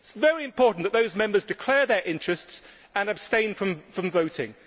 It is very important that those Members declare their interests and abstain from voting.